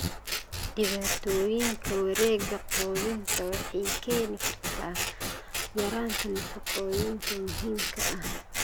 Dhibaatooyinka wareegga quudinta waxay keeni kartaa yaraanta nafaqooyinka muhiimka ah.